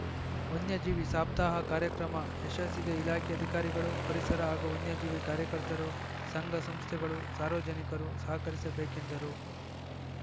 ವನ್ಯಜೀವಿ ಸಪ್ತಾಹ ಕಾರ್ಯಕ್ರಮ ಯಶಸ್ಸಿಗೆ ಇಲಾಖೆ ಅಧಿಕಾರಿಗಳು ಪರಿಸರ ಹಾಗೂ ವನ್ಯಜೀವಿ ಕಾರ್ಯಕರ್ತರು ಸಂಘ ಸಂಸ್ಥೆಗಳು ಸಾರ್ವಜನಿಕರು ಸಹಕರಿಸಬೇಕೆಂದರು